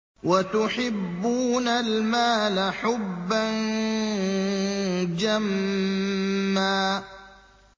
وَتُحِبُّونَ الْمَالَ حُبًّا جَمًّا